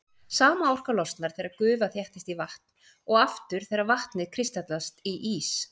Sama orka losnar þegar gufa þéttist í vatn og aftur þegar vatnið kristallast í ís.